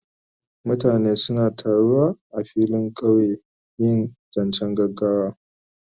Mutane suna taru a filin kauye in zancen gaggawa.